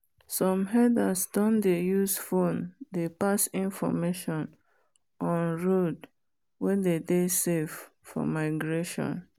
some herders doh dey use phone dey pass information on road wen dey dey safe for migration.